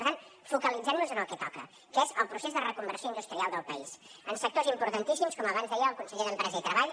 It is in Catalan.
per tant focalitzem nos en el que toca que és el procés de reconversió industrial del país en sectors importantíssims com abans deia el conseller d’empresa i treball